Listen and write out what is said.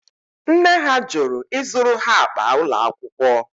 Nne ha jụrụ ịzụrụ ha akpa ụlọ akwụkwọ